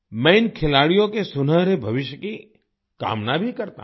मैं इन खिलाड़ियों के सुनहरे भविष्य की कामना भी करता हूँ